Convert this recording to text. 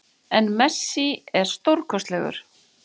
En Messi er stórkostlegur